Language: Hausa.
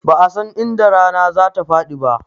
Ba'a san inda rana za ta faɗi ba